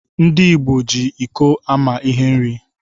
Ndi igbo ji iko ama ihe nri.